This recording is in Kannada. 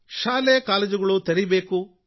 ಶಾಲೆ ಕಾಲೇಜುಗಳನ್ನು ತೆರೆಯಬೇಕು